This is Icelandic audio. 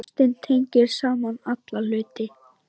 Ástin tengir saman alla hluti.